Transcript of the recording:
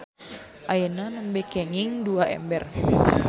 Ayeuna nembe kenging dua ember.